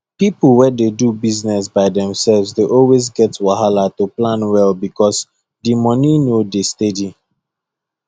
people wey dey do business by themself dey always get wahala to plan well because the money no dey steady